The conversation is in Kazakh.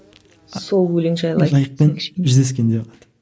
сол өлең жайлы жайықпен жүздескенде